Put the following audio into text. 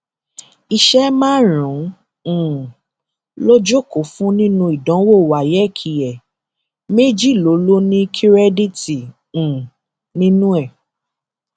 iṣẹ márùnún um ló jókòó fún nínú ìdánwò wáyéèkì ẹ méjì ló ló ní kírèdíìtì um nínú ẹ